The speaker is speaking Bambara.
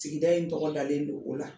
Sigida in tɔgɔdalen don o la